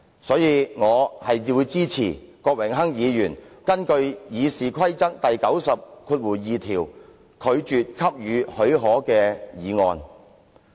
所以，我支持郭榮鏗議員根據《議事規則》第902條動議的拒絕給予許可的議案。